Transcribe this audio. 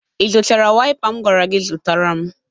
Ị zụtara waịpa m gwara gi zụtara m?